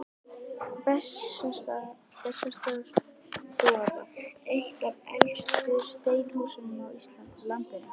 Bessastaðastofa, eitt af elstu steinhúsum á landinu.